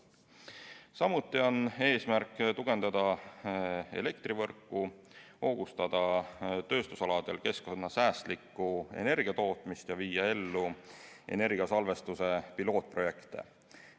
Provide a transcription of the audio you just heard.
Samuti on eesmärk tugevdada elektrivõrku, hoogustada tööstusaladel keskkonnasäästlikku energia tootmist ja viia ellu energiasalvestuse pilootprojekte.